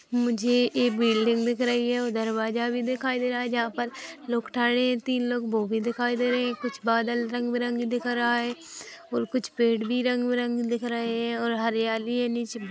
मुझे एक बिल्डिंग दिख रही है और दरवाज़ा भी दिखाई दे रहा है जहाँ पर लोग ठहरे है तिन लोग वो भी दिखाई दे रहे है कुछ बादल रंग-बीरंग दिख रहा है और कुछ पेड़ भी रंग-बीरंग दिख रहे है और हरियाली है निचे--